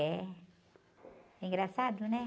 É. Engraçado, né?